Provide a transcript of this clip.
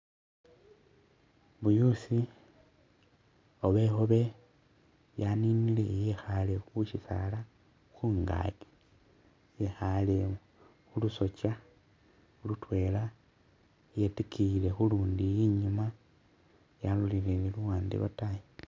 Buyusi oba ikhobe yaninile yekhale khusisala khungaki yekhale khulusokya lutwela yetikiyiye khulundi inyuma yalolelele luwande lwataayi